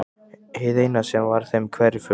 Hið eina sem var þeim hverfult.